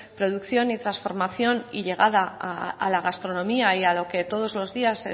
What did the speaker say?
producción y transformación y llegada a la gastronomía y a lo que todos los días